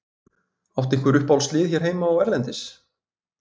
Áttu einhver uppáhaldslið hér heima og erlendis?